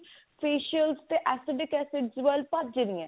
facial ਤੇ acidic acid ਵੱਲ ਭੱਜ ਰਹੇ ਨੇ